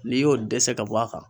N'i y'o dɛsɛ ka bɔ a kan.